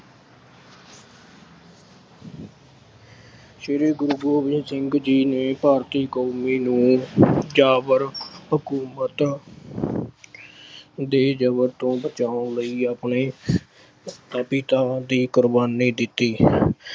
ਸ਼੍ਰੀ ਗੁਰੂ ਗੋਬਿੰਦ ਸਿੰਘ ਜੀ ਨੇ ਭਾਰਤੀ ਕੌਮ ਨੂੰ ਜਾਬਰ ਹਕੂਮਤ ਦੇ ਜ਼ਬਰ ਤੋਂ ਬਚਾਉਣ ਲਈ ਆਪਣੇ ਹਿੱਤਾਂ ਦੀ ਕੁਰਬਾਨੀ ਦਿੱਤੀ।